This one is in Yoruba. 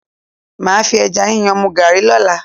Màá fi ẹja yíyan mu Garri lọ́la.